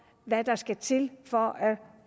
hvad der skal til for